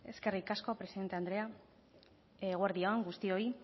eskerrik asko presidente andrea eguerdi on guztioi